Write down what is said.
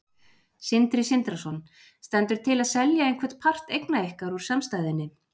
Sindri Sindrason: Stendur til að selja einhvern part eigna ykkar úr samstæðunni?